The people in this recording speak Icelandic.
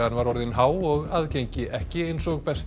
var orðin há og aðgengi ekki eins og best